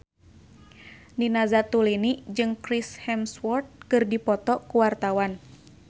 Nina Zatulini jeung Chris Hemsworth keur dipoto ku wartawan